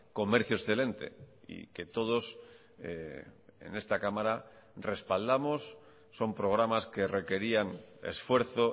comercio excelente y que todos en esta cámara respaldamos son programas que requerían esfuerzo